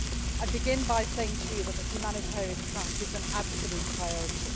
I begin by saying to you that the humanitarian track is an absolute priority.